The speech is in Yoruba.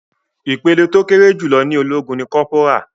Ìpele tó kéré jùlọ ní ológun ní kọ́pórà.